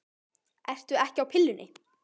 Ertu ekki á pillunni?